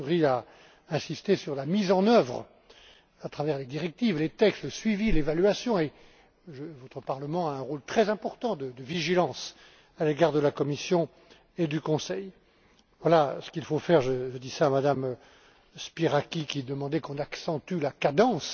López Istúriz a insisté sur la mise en œuvre à travers les directives, les textes, le suivi, l'évaluation et votre Parlement a un rôle très important de vigilance à l'égard de la Commission et du Conseil. Voilà ce qu'il faut faire, je dis cela à Mme Spyraki qui demandait qu'on accentue la cadence.